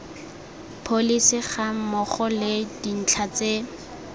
pholesi gammogo le dintlha tse